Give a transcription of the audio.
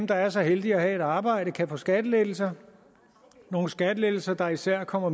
der er så heldige at have et arbejde kan få skattelettelser nogle skattelettelser der især kommer